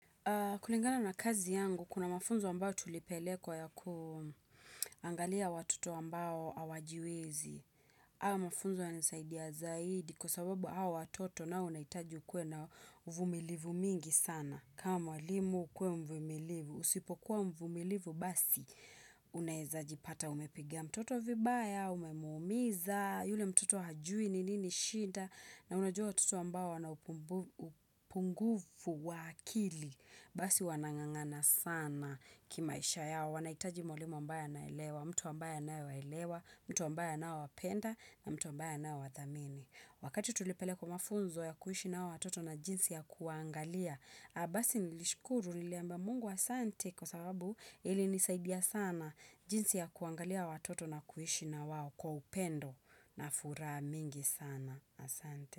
Kulingana na kazi yangu, kuna mafunzo ambao tulipelekwa ya kuangalia watoto ambao hawajiwezi. Hayo mafunzo yanisaidia zaidi kwa sababu hao watoto na unaitajukuwe na uvumilivu mingi sana. Kama mwalimu kuwa mvumilivu. Usipokuwa mvumilivu basi, unayezajipata umepigia mtoto vibaya, umemumiza, yule mtoto hajui ni nini shinda. Na unajua watoto ambao wanaupungufu wakili, basi wanangangana sana kima isha yao, wanahitaji mwalimu ambayo na elewa, mtu ambayo na elewa, mtu ambayo na wapenda na mtu ambayo anaowathamini. Wakati tulipele kwa mafunzo ya kuishi na watoto na jinsi ya kuangalia, abasi nilishkuru niliambia mungu asante kwa sababu ili nisaidia sana jinsi ya kuangalia watoto na kuhishi na wao kwa upendo na furaha mingi sana. Asante.